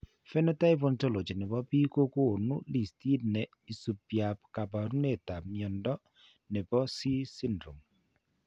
Phenotype Ontology ne po biik ko konu listiit ne isubiap kaabarunetap mnyando ne po C syndrome.